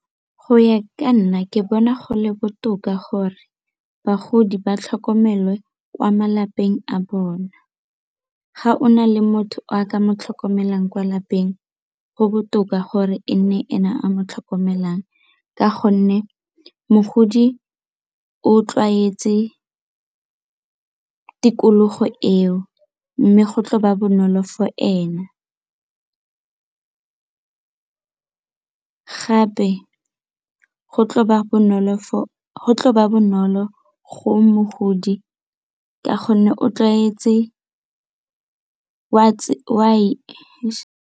Go ya ka nna ke bona go le botoka gore bagodi ba tlhokomelwe kwa malapeng a bona. Ga o na le motho o a ka mo tlhokomelang kwa lapeng go botoka gore e nne ene a mo tlhokomelang ka gonne mogodi o tlwaetse tikologo eo mme go tlo ba bonolo for ena, gape go tlo ba bonolo go mogodi ka gonne o tlwaetse .